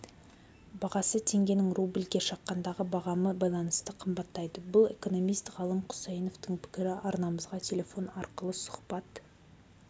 бағасы теңгенің рубльге шаққандағы бағамы байланысты қымбаттайды бұл экономист ғалым құсайыновтың пікірі арнамызға телефон арқылы сұхбат